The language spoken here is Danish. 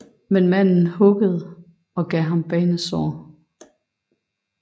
Men manden huggede og gav ham banesår